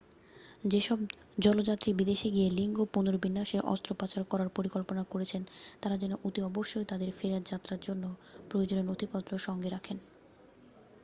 যেসব জলযাত্রী বিদেশে গিয়ে লিঙ্গ পুনর্বিন্যাসের অস্ত্রোপচার করার পরিকল্পনা করছেন তাঁরা যেন অতি অবশ্যই তাঁদের ফেরার যাত্রার জন্য প্রয়োজনীয় নথিপত্র সঙ্গে রাখেন